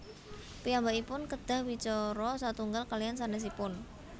Piyambakipun kedah wicara satunggal kaliyan sanésipun